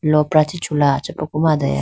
lopra chee chula achaprupu ma adaya.